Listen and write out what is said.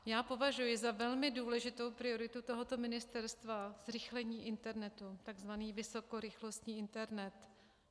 Já považuji za velmi důležitou prioritu tohoto ministerstva zrychlení internetu, takzvaný vysokorychlostní internet.